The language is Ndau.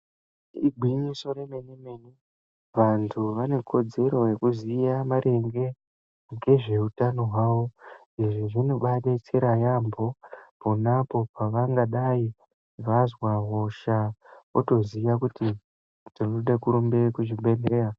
Igwinyiso remene mene. Vantu vanekodzero yekuziya maringe ngezveutano hwawo. Izvi zvinobadetsera yaamho ponapo pavangadai vazwa hosha otoziya kuti ndinoda kurumbe kuzvibhedhleya.